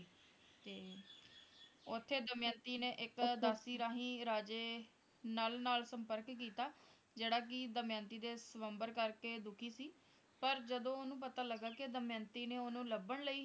ਤੇ ਉੱਥੇ ਦਮਯੰਤੀ ਨੇ ਇੱਕ ਦਾਸੀ ਰਾਹੀਂ ਰਾਜੇ ਨਲ ਨਾਲ ਸੰਪਰਕ ਕੀਤਾ ਜਿਹੜਾ ਕਿ ਦਮਯੰਤੀ ਦੇ ਸ੍ਵਯੰਬਰ ਕਰਕੇ ਦੁਖੀ ਸੀ ਪਰ ਜਦੋਂ ਓਹਨੂੰ ਪਤਾ ਲੱਗਾ ਕਿ ਦਮਯੰਤੀ ਨੇ ਓਹਨੂੰ ਲੱਭਣ ਲਈ